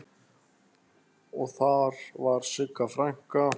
Og þar var Sigga frænka.